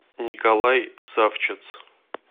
николай савчец